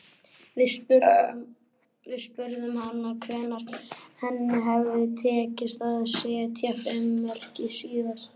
Við spurðum hana hvenær henni hefði tekist að setja fimm mörk síðast.